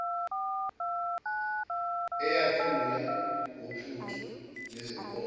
eyakhula ngophuthu nezinkobe